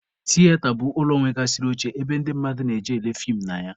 Tiyeta bụ ụlọ nwegasịrị oche ebe ndị mmadụ na-eje ele feem na ya.